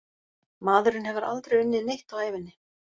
Maðurinn hefur aldrei unnið neitt á ævinni.